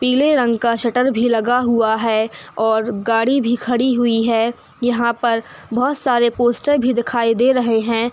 पीले रंग का शटर भी लगा हुआ है और गाड़ी भी खड़ी हुई है यहाँ पर बहोत सारे पोस्टर भी दिखाई दे रहे हैं।